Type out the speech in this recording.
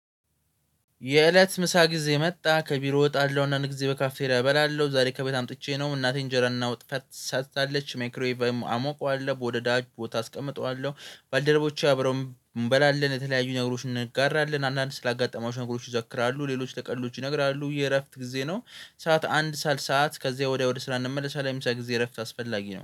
የእለት ምሳ ጊዜ መጣ ከቢሮ ወጣለሁ እናንተ ጊዜ በካፌ ላይ እበላለሁ ዛሬ ከቤት አምጥቼ ነው እናቴን እንጀራን እና ወጥ ሰርታለች ሜክሮይቫም አሞቀዋለሁ ወደ ዳጅ ቦታ አስቀምጠዋለሁ ባልደረቦቼ አብረው እንበላለን የተለያዩኝ ነገሮች እንጋራለን አንዳንድ ስላጋጠማችሁ ነገሮች ይዘክራሉ ሌሎች ለሌሎች ይነግራሉ የእረፍት ጊዜ ነው። ሰዓት አንድ ሰዓት ከዚህ ወዲያ ወዲህ ስራ እንመለሳለን ሰዓት ጊዜ እረፍት አስፈላጊ ነው